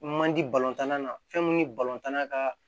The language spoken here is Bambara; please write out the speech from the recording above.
Man di balontan na fɛn mun ye balontan na ka